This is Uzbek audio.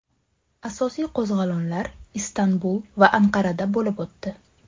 Asosiy qo‘zg‘olonlar Istanbul va Anqarada bo‘lib o‘tdi.